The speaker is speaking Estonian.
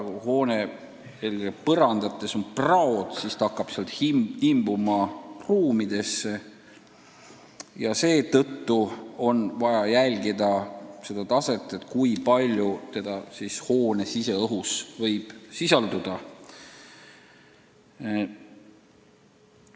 Kui hoone põrandates on praod, siis hakkab radoon sealt imbuma ruumidesse ja seetõttu ongi vaja jälgida, kui palju seda hoone siseõhus võib sisalduda.